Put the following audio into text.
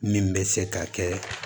Min bɛ se ka kɛ